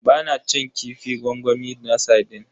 Ba na cin kifin gwangwami na sardine.